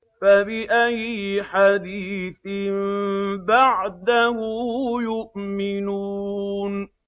فَبِأَيِّ حَدِيثٍ بَعْدَهُ يُؤْمِنُونَ